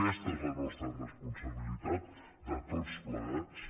aquesta és la nostra responsabilitat de tots plegats